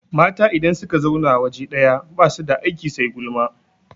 Mata idan suka zauna waje ɗaya basu da aiki sai gulma